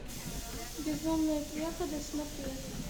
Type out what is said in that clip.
безумные преподы смотреть